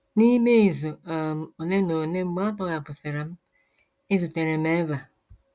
N’ime izu um ole na ole mgbe a tọhapụsịrị m, ezutere m Eva.